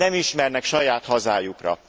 Nem ismernek saját hazájukra.